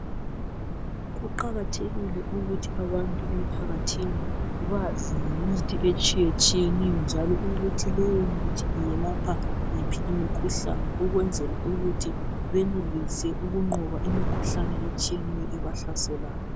Kuqakathekile ukuthi abantu emphakathini bazi ngemithi etshiyetshiyeneyo njalo ukuthi leyo mithi yelapha iphi imikhuhlane ukwenzela ukuthi benelise ukunqoba imikhuhlane etshiyeneyo ebahlaselayo.